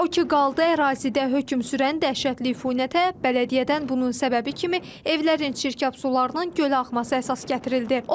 O ki qaldı ərazidə hökm sürən dəhşətli iyinətə, bələdiyyədən bunun səbəbi kimi evlərin çirkab sularının gölə axması əsas gətirildi.